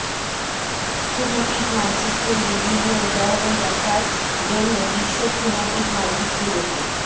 thematic মানচিত্রের বিভিন্ন উদাহরণ দেখার জন্য বিশ্ব থিম্যাটিক মানচিত্র দেখুন